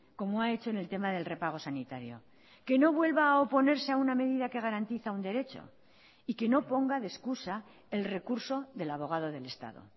como ha hecho en el tema del repago sanitario que no vuelva a oponerse a una medida que garantiza un derecho y que no ponga de excusa el recurso del abogado del estado